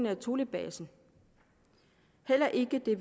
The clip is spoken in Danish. af thulebasen heller ikke det